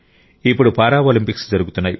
ఇప్పుడు పారాలింపిక్స్ జరుగుతున్నాయి